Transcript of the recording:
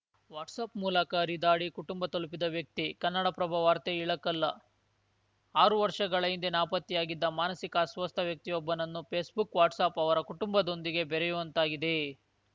WhatsApp ಮೂಲಕ ಹರಿದಾಡಿ ಕುಟುಂಬ ತಲುಪಿದ ವ್ಯಕ್ತಿ ಕನ್ನಡಪ್ರಭ ವಾರ್ತೆ ಇಳಕಲ್ಲ ಆರು ವರ್ಷಗಳ ಹಿಂದೆ ನಾಪತ್ತೆಯಾಗಿದ್ದ ಮಾನಸಿಕ ಅಸ್ವಸ್ಥ ವ್ಯಕ್ತಿಯೊಬ್ಬನನ್ನು ಫೇಸ್‌ಬುಕ್‌ ವಾಟ್ಸಪ್‌ ಅವರ ಕುಟುಂಬದೊಂದಿಗೆ ಬೆರೆಯುವಂತಾಗಿದೆ